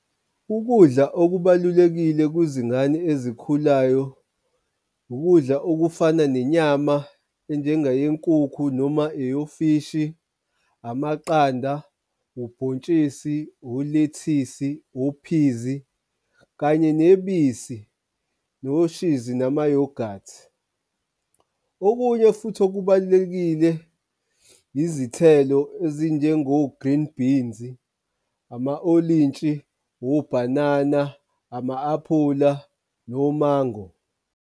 Ukudla okubalulekile kuzingane ezikhulayo, ukudla okufana nenyama enjengayenkukhu noma eyofishi, amaqanda, ubhontshisi, olethisi, ophizi, kanye nebisi, noshizi namayohathi. Okunye futhi okubalulekile izithelo ezinjengo-green beans, ama olintshi, obhanana, ama-aphula, nomango.